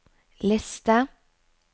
liste